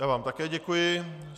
Já vám také děkuji.